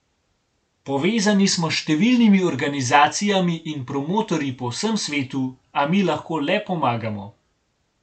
Povezani smo s številnimi organizacijami in promotorji po vsem svetu, a mi lahko le pomagamo.